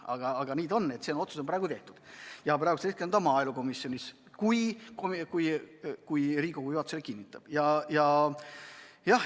Aga praegu on üks otsus tehtud ja hetkel on see maaelukomisjonis, kui Riigikogu juhatus selle kinnitab.